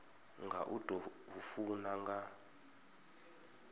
nga u tou funa nga